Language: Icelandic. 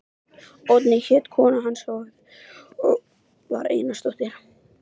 Oddný hét kona hans og var Einarsdóttir.